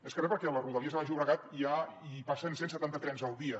més que re perquè a rodalies al baix llobregat ja hi passen cent setanta trens al dia